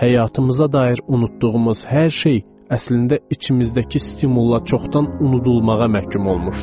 Həyatımıza dair unutduğumuz hər şey əslində içimizdəki stimulla çoxdan unudulmağa məhkum olmuşdu.